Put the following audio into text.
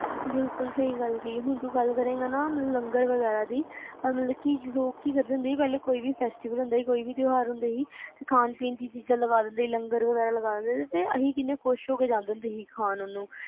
ਬਿਲਕੁਲ ਸਹੀ ਗੱਲ ਆ ਜਿਵੇ ਹੁਣ ਤੂੰ ਕਿਹਾ ਕਿ ਲੰਗਰ ਵਗੈਰਾ ਦੀ, ਮਤਲਬ ਪਹਿਲਾ ਲੋਕ ਕੀ ਕਰਦੇ ਸੀ ਕੋਈ ਵੀ festival ਹੁੰਦਾ ਸੀ ਤਿਉਹਾਰ ਹੁੰਦਾ ਸੀ ਖਾਣ ਪੀਣ ਦੀਆ ਚੀਜ਼ ਲੰਗਰ ਵਗੈਰਾ ਲਗਾ ਦਿੰਦੇ ਸੀ ਤੇ ਅਸੀਂ ਬੜੀ ਖੁਸ਼ੀ ਨਾਲ ਜਾਣਾ